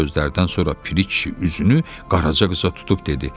Bu sözlərdən sonra Piri kişi üzünü Qaraca qıza tutub dedi: